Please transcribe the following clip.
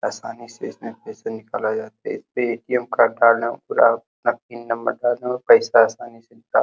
आसानी से इसमें पैसे निकले जाते है। इसमें ए _टी_म पिन नंबर डालो पैसे आसानी से निकाल --